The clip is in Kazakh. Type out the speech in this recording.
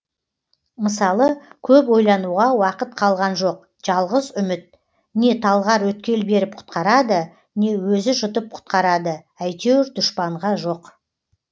мысалы көп ойлануға уақыт қалған жоқ жалғыз үміт не талғар өткел беріп құтқарады не өзі жұтып құтқарады әйтеуір дұшпанға жоқ